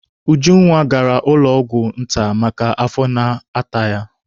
Ujunwa gara ụlọ ọgwụ nta maka afọ na-ata ya.